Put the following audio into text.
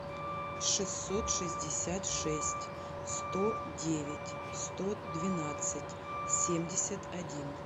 шестьсот шестьдесят шесть сто девять сто двенадцать семьдесят один